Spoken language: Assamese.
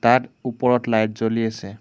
তাত ওপৰত লাইট জ্বলি আছে।